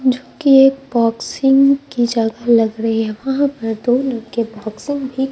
जो कि एक बॉक्सिंग की जगह लग रही है वहां पर दोनों के बॉक्सिंग भी--